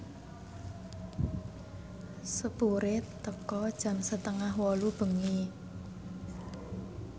sepure teka jam setengah wolu bengi